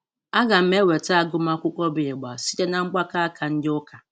A ga m eweta agụmakwụkwọ bụ ị̀gbà site na mgbakọ áká ndị ụka.